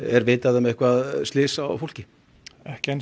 er vitað um slys á fólki ekki enn